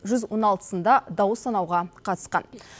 жүз он алтысында дауыс санауға қатысқан